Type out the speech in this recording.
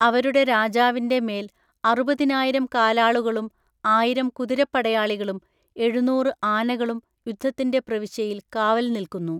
അവരുടെ രാജാവിന്റെ മേൽഅറുപതിനായിരം കാലാളുകളും ആയിരം കുതിരപ്പടയാളികളും എഴുന്നൂറ് ആനകളും യുദ്ധത്തിന്റെ പ്രവിശ്യയിൽ കാവൽ നിൽക്കുന്നു.